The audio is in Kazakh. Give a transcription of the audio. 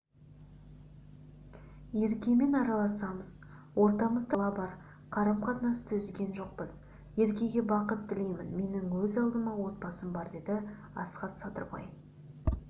еркемен араласамыз ортамызда бала бар қарым-қатынасты үзген жоқпыз еркеге бақыт тілеймін менің өз алдыма отбасым бар деді асхат садырбай